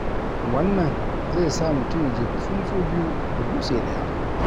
Wannan zai sa mutum ya jefi tsuntsu biyu da dutse ɗaya.